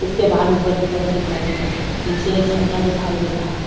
उसके बाल ऊपर की तरफ दिखाई दे रहा है नीचे एक झंडा दिखाई दे रहा है।